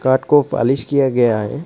घाट को फालिश किया गया है।